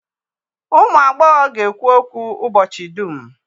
Ụmụ agbọghọ ga-ekwu okwu ụbọchị dum